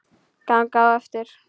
Ganga á eftir.